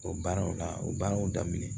O baaraw la o baaraw daminɛ